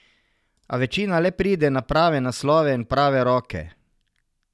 A večina le pride na prave naslove in v prave roke.